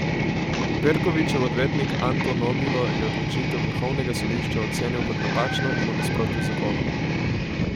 Perkovićev odvetnik Anto Nobilo je odločitev vrhovnega sodišča ocenil kot napačno in v nasprotju z zakonom.